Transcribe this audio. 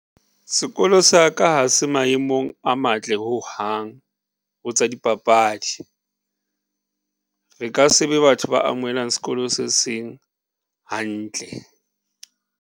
Sekolo sa ka ha se maemong a matle ho hang ho tsa dipapadi. Re ka se be batho ba amohelang sekolo se seng hantle.